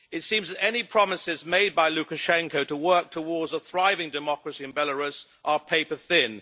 It seems that any promises made by Lukashenko to work towards a thriving democracy in Belarus are paper thin.